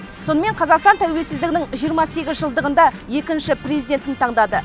сонымен қазақстан тәуелсіздігінің жиырма сегіз жылдығында екінші президентін таңдады